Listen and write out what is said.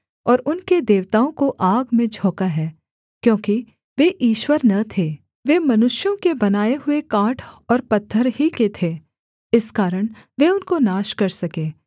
और उनके देवताओं को आग में झोंका है क्योंकि वे ईश्वर न थे वे मनुष्यों के बनाए हुए काठ और पत्थर ही के थे इस कारण वे उनको नाश कर सके